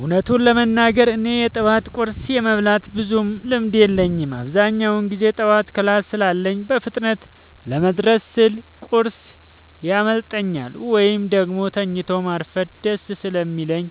እውነቱን ለመናገር እኔ የጠዋት ቁርስ የመብላት ብዙም ልምድ የለኝም። አብዛኛውን ጊዜ ጠዋት ክላስ ስላለኝ በፍጥነት ለመድረስ ስል ቁርስ ያመልጠኛል፤ ወይም ደግሞ ተኝቶ ማርፈድ ደስ ስለሚለኝ